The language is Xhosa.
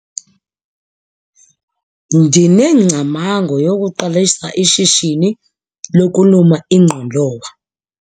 Ndinengcamango yokuqalisa ishishini lokuluma ingqolowa.